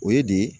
O ye de ye